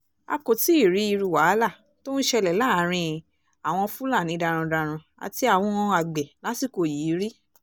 a kò tí ì rí irú wàhálà tó ń ṣẹlẹ̀ láàrin àwọn fúlàní darandaran àti àwọn àgbẹ̀ lásìkò yìí rí